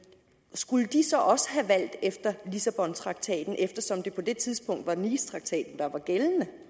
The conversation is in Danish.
skulle de så også have valgt efter lissabontraktaten eftersom det på det tidspunkt var nicetraktaten der var gældende